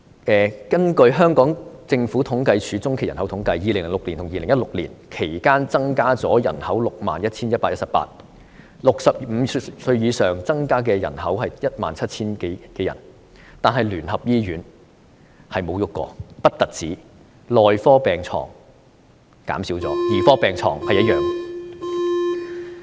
根據政府統計處中期人口統計，在2006年至2016年期間，人口增加了 61,118 人，當中65歲以上增加的人口是 17,000 多人，然而聯合醫院不但沒有改變，內科病床數目更減少了，兒科病床數目則保持不變。